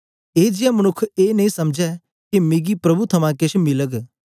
ए जेया मनुक्ख ए नेई समझै के मिकी प्रभु थमां केछ मिलग